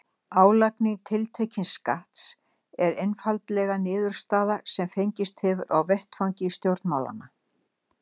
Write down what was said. Álagning tiltekins skatts er einfaldlega niðurstaða sem fengist hefur á vettvangi stjórnmálanna.